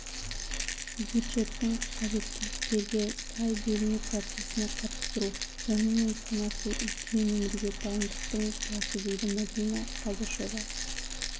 бюджеттің қажеттілктерге сай бөліну процесіне қатыстыру онымен санасу үлкен өмірге дайындықтың басы дейді мәдина қадышева